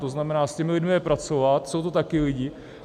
To znamená, s těmi lidmi pracovat, jsou to taky lidi.